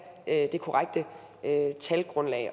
det korrekte talgrundlag